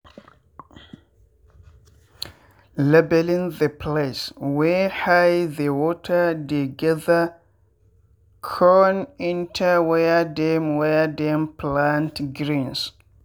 leveling the place wey high the water dey gather con enter where dem where dem plant greens.